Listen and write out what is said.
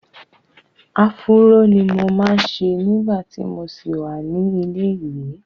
Afúró ni mo máa ń ṣe nígbà tí mo ṣì wà ní ilé-ìwẹ́.